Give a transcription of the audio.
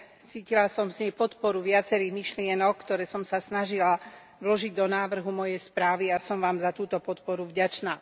Cítila som z nej podporu viacerých myšlienok, ktoré som sa snažila vložiť do návrhu mojej správy, a som vám za túto podporu vďačná.